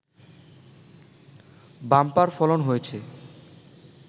bumper ফলন হয়েছে